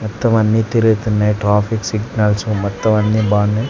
మొత్తం వన్నీ తిరుగుతున్నయ్ ట్రాఫిక్ సిగ్నల్స్ మొత్తం అన్నీ బావున్నాయ్.